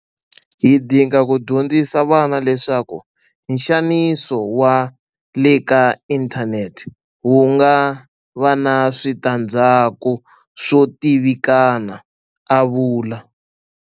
Hi dinga ku dyondzisa vana leswaku nxaniso wa le ka inthanete wu nga va na switandzhaku swo tivikana a vula.